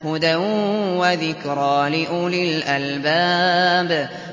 هُدًى وَذِكْرَىٰ لِأُولِي الْأَلْبَابِ